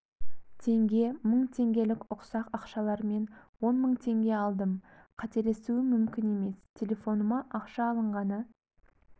теңге мың теңгелік ұсақ ақшалармен он мың теңге алдым қателесуім мүмкін емес телефоныма ақша алынғаны